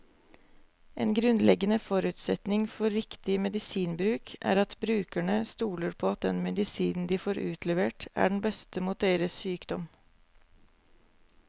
En grunnleggende forutsetning for riktig medisinbruk er at brukerne stoler på at den medisinen de får utlevert, er den beste mot deres sykdom.